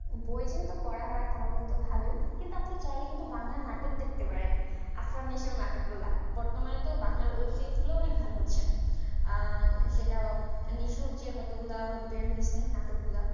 বই দিয়ে তো পড়া হয় তাহলে তো ভালোই কিন্তু আপনি চাইলে বাংলা নাটক দেখতে পারেন আসানীসহ এর নাটক গুলা বর্তমান এ তো web series গুলো ভালো হচ্ছে আহ নিসূর্যে বেরহইছে কতগুলা নাটক গুলা